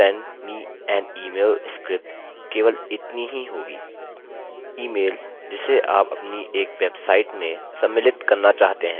send me an email script केवल इतनी ही होगी ईमेलemail जिसे आप अपनी एक वेबसाइट में सम्मिलित करना चाहते हैं